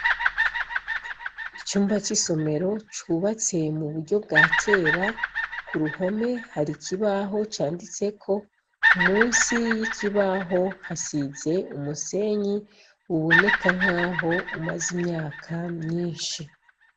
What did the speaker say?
Icumba c'isomero cubatse mu buryo bwa kera. Ku ruhome hari ikibaho canditeko, munsi y'ikibaho hasize umusenyi uboneka nkaho umaze imyaka myinshi.